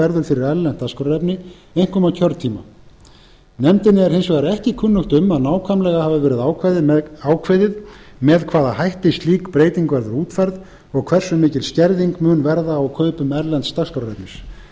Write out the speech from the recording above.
verður fyrir erlent dagskrárefni einkum á kjörtíma nefndinni er hins vegar ekki kunnugt um að nákvæmlega hafi verið ákveðið með hvaða hætti slík breyting verður útfærð og hversu mikil skerðing mun verða á kaupum erlends dagskrárefnis